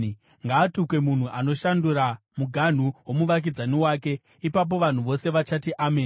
“Ngaatukwe munhu anoshandura muganhu womuvakidzani wake.” Ipapo vanhu vose vachati, “Ameni!”